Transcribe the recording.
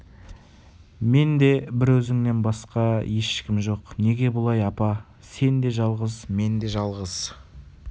менде бір өзіңнен басқа ешкім жоқ неге бұлай апа сен де жалғыз мен де жалғыз